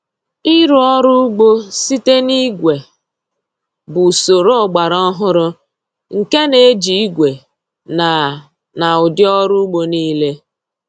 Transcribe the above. Ịrụ ọrụ ugbo site na igwe bụ usoro ọgbara ọhụrụ nke na-eji igwe na na ụdị ọrụ ugbo niile.